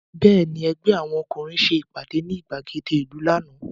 Bẹ́ẹ̀ni, ẹgbẹ́ àwọn ọkúnrin ìlú ṣe ìpàdé ní ìgbàgede ìlú lánàá